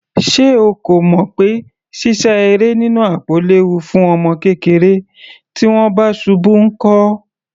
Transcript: Ṣé o kò mọ̀ pé sísá eré nínú àpò léwu fún ọmọ kékeré? Tí wọ́n bá ṣubú nkọ́?